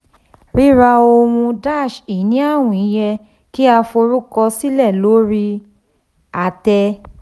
ríra ohun-ini àwìn yẹ kí a forúkọsílẹ̀ lórí àtẹ.